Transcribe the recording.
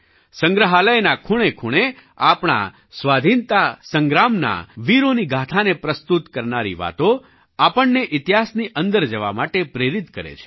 સંગ્રહાલયના ખૂણેખૂણે આપણા સ્વાધીનતા સંગ્રામના વીરોની ગાથાને પ્રસ્તુત કરનારી વાતો આપણને ઇતિહાસની અંદર જવા માટે પ્રેરિત કરે છે